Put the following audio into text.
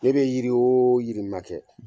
Ne bɛ yiri o yiri ma kɛ